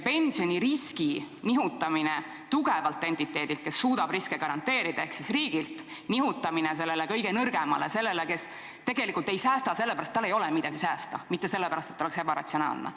Pensionirisk nihutatakse tugevalt entiteedilt, kes suudab riskide arvestamist garanteerida, ehk siis riigilt sellele kõige nõrgemale – inimesele, kes tegelikult ei säästa sellepärast, et tal ei ole midagi säästa, mitte sellepärast, et ta on ebaratsionaalne.